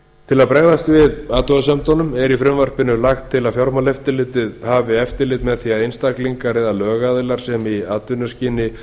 til að bregðast við athugasemdum fatf er í frumvarpinu lagt til að fjármálaeftirlitið hafi eftirlit með því að einstaklingar eða lögaðilar sem í atvinnuskyni